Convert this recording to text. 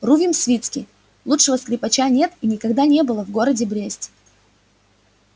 рувим свицкий лучшего скрипача нет и никогда не было в городе бресте